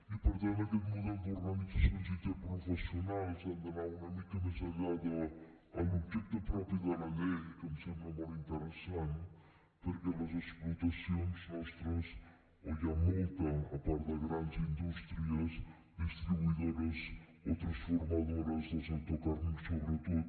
i per tant aquest model d’organitzacions interprofessionals ha d’anar una mica més enllà de l’objecte propi de la llei que em sembla molt interessant perquè les explotacions nostres on hi ha molta a part de grans indústries distribuïdores o transformadores del sector carni sobretot